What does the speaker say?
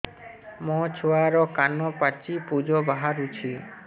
ମୋ ଛୁଆର କାନ ପାଚି ପୁଜ ବାହାରୁଛି